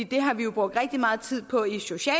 det har vi brugt rigtig meget tid på